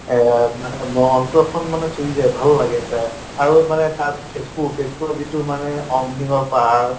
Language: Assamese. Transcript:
এহ মানে মন অন্তৰখন মানে চুই যায়, ভাল লাগে এটা আৰু মানে তাত তেজ্পুৰ তেজ্পুৰৰ যিটো মানে অগ্নিগঢ় পাহাৰ